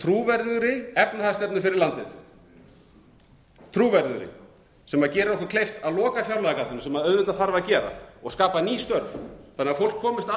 trúverðugri efnahagsstefnu fyrir landið trúverðugri sem gerir okkur kleift að loka fjárlagagatinu sem auðvitað þarf að gera og skapa ný störf þannig að fólk komist aftur út á vinnumarkaðinn og